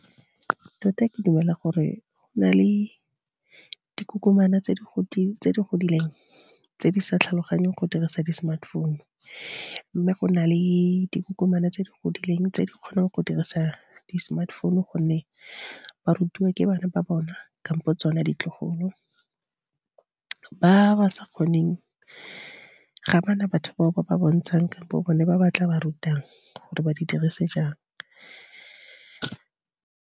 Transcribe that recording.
Tota ke dumela gore go na le dikokomana tse di godileng tse di sa tlhaloganyeng go dirisa di-smartphone. Mme go na le dikokomana tse di godileng tse di kgonang go dirisa di-smartphone gonne ba rutiwa ke bana ba bona kampo tsone ditlogolo. Ba ba sa kgoneng ga bana batho bao ba ba bontshang kampo bone ba ba tla ba rutang, gore ba di dirise jang.